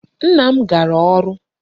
Nna m gara ọrụ.